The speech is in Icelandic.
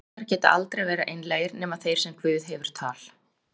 ingar geta aldrei verið einlægir, nema þeir sem guð hefur tal